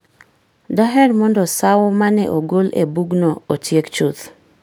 Daher mondo sawo ma ne ogol e bugno otiek chuth.